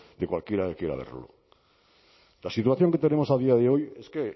de cualquiera que quiera verlo la situación que tenemos a día de hoy es que